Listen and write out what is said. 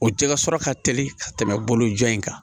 O jɛgɛ sɔrɔ ka teli ka tɛmɛ bolo jan in kan